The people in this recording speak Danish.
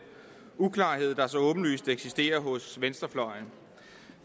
uklarhed der så åbenlyst eksisterer hos venstrefløjen